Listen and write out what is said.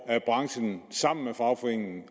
er branchen sammen med fagforeningen